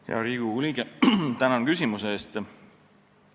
Hea Riigikogu liige, tänan küsimuse eest!